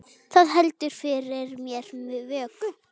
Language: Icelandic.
Það heldur fyrir mér vöku.